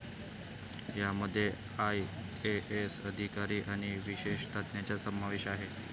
यांमध्ये आयएएस अधिकारी आणि विशेषज्ञांचा समावेश आहे.